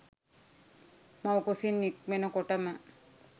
මව්කුසින් නික්මෙන කොටම